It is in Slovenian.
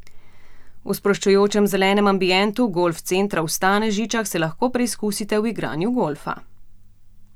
V sproščujočem zelenem ambientu Golf centra v Stanežičah se lahko preizkusite v igranju golfa.